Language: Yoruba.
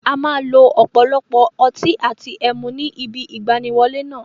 A máa lo ọ̀pọ̀lọpọ̀ ọtí àti ẹmu ní ibi ìgbaniwọlé náà.